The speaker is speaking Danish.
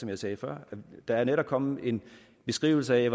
jeg sagde før der er netop kommet en beskrivelse af